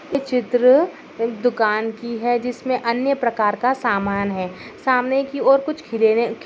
यह चित्र एक दुकान की है जिसमे अन्य प्रकार का सामान है सामने की और कुछ खिलेने --